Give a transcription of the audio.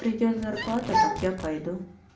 придёт зарплата так я пойду